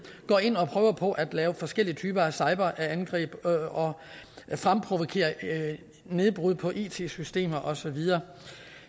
går ind og prøver på at lave forskellige typer af cyberangreb og fremprovokere nedbrud på it systemer og så videre